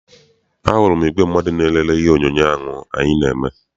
A hụrụ m igwe mmadụ na-elele ihe onyoonyo ahụ anyị na-eme.